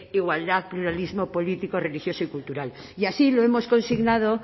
igualdad pluralismo político religioso y cultural y así lo hemos consignado